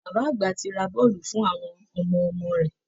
Bàbá àgbà ti ra bọ́ọ̀lù fún àwọn ọmọ ọmọ rẹ̀